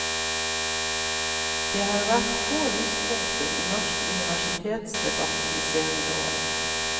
Det har vært få lyspunkter i norsk universitetsdebatt de senere årene.